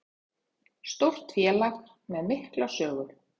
Stórt félag með mikla sögu